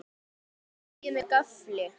Pikkið deigið með gaffli.